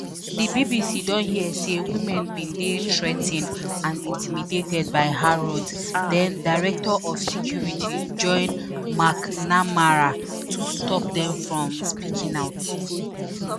di bbc don hear say women bin dey threa ten ed and intimidated by harrods den-director of security john macnamara to stop dem from speaking out.